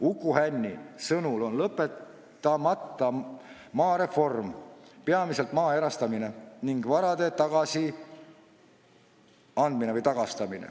Uku Hänni sõnul on lõpetamata maareform, peamiselt maa erastamine ning varade tagastamine.